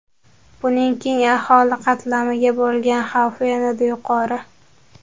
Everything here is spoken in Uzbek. Buning keng aholi qatlamiga bo‘lgan xavfi yanada yuqori.